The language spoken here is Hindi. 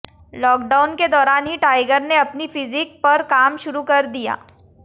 लॉकडाउन के दौरान ही टाइगर ने अपनी फिजिक पर काम शुरू कर दिया